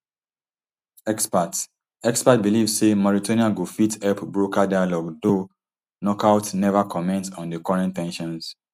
experts experts believe say mauritania go fit help broker dialogue though nouakchott neva comment on di current ten sions